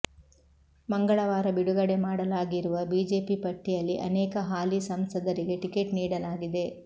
ಮಂಗಳವಾರ ಬಿಡುಗಡೆ ಮಾಡಲಾಗಿರುವ ಬಿಜೆಪಿ ಪಟ್ಟಿಯಲ್ಲಿ ಅನೇಕ ಹಾಲಿ ಸಂಸದರಿಗೆ ಟಿಕೆಟ್ ನೀಡಲಾಗಿದೆ